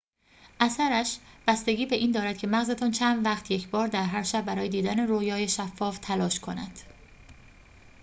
اثرش بستگی به این دارد که مغزتان چند وقت یکبار در هر شب برای دیدن رؤیای شفاف تلاش کند